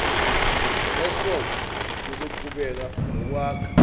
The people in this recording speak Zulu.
eskom uzoqhubeka nokwakha